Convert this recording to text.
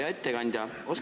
Hea ettekandja!